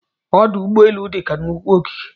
Ọdụ ụgbọelụ dị ka nnukwu ogige